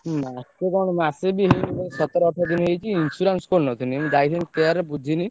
ମାସେ କଣ ମାସେ ବି ହେଇନି ଭାଇ ସତର ଅଠର୍ ଦିନ ହେଇଛି insurance କରିନଥିନି। ମୁଁ ଯାଇଥିନି care ରେ ବୁଝିନି।